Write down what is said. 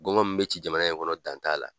Gɔngɔn min bɛ ci jamana in kɔnɔ dan t'a la.